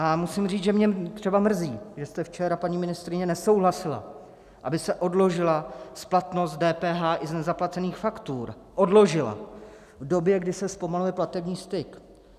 A musím říct, že mě třeba mrzí, že jste včera, paní ministryně, nesouhlasila, aby se odložila splatnost DPH i z nezaplacených faktur, odložila v době, kdy se zpomaluje platební styk.